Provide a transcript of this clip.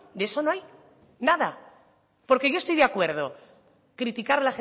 de eso no hay nada porque yo estoy de acuerdo criticar